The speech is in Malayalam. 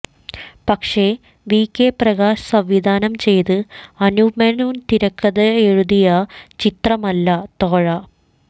പക്ഷെ വി കെ പ്രകാശ് സംവിധാനം ചെയ്ത് അനൂപ് മേനോൻ തിരക്കഥയെഴുതിയ ചിത്രമല്ല തോഴാ